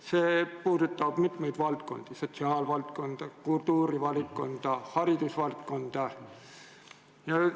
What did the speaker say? See puudutab mitmeid valdkondi: sotsiaalvaldkonda, kultuurivaldkonda, haridusvaldkonda.